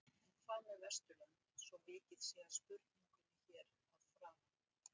En hvað með Vesturlönd svo vikið sé að spurningunni hér að framan?